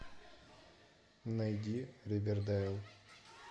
найди ривердейл